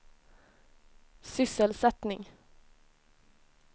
sysselsättning